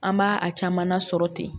An b'a a caman na sɔrɔ ten